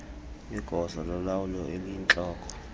igosa lolawulo eliyintloko